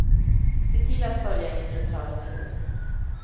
Se till att följa instruktörens råd.